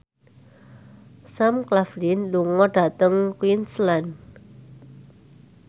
Sam Claflin lunga dhateng Queensland